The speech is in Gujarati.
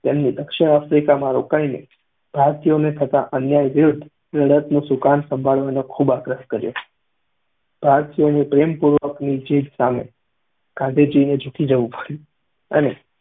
તેમને દક્ષિણ આફ્રિકામાં રોકાઈને ભારતીયોને થતા અન્યાય વિરુદ્ધ લડતનું સુકાન સંભાળવાનો ખૂબ આગ્રહ કર્યો. ભારતીયોની પ્રેમપૂર્વકની જીદ સામે ગાંધીજીએ ઝુકી જવું પડ્યું અને